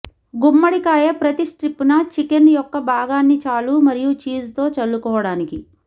గుమ్మడికాయ ప్రతి స్ట్రిప్ న చికెన్ యొక్క భాగాన్ని చాలు మరియు చీజ్ తో చల్లుకోవటానికి